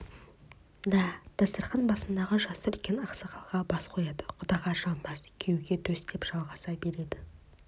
да дастарқан басындағы жасы үлкен ақсақалға бас қояды құдаға жамбас күйеуге төс деп жалғаса береді